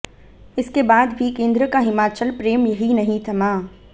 इसके बाद भी केंद्र का हिमाचल प्रेम यहीं नहीं थमा